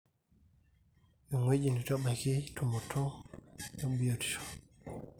ewueji neitu ebaiki tumoto ebiotisho